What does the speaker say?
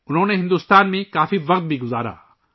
انہوں نے ہندوستان میں کافی وقت گزارا